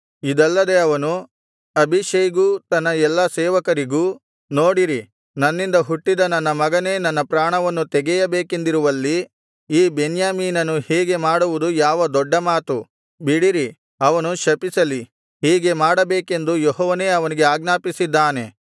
ಇದಲ್ಲದೆ ಅವನು ಅಬೀಷೈಗೂ ತನ್ನ ಎಲ್ಲಾ ಸೇವಕರಿಗೂ ನೋಡಿರಿ ನನ್ನಿಂದ ಹುಟ್ಟಿದ ನನ್ನ ಮಗನೇ ನನ್ನ ಪ್ರಾಣವನ್ನು ತೆಗೆಯಬೇಕೆಂದಿರುವಲ್ಲಿ ಈ ಬೆನ್ಯಾಮೀನನು ಹೀಗೆ ಮಾಡುವುದು ಯಾವ ದೊಡ್ಡ ಮಾತು ಬಿಡಿರಿ ಅವನು ಶಪಿಸಲಿ ಹೀಗೆ ಮಾಡಬೇಕೆಂದು ಯೆಹೋವನೇ ಅವನಿಗೆ ಆಜ್ಞಾಪಿಸಿದ್ದಾನೆ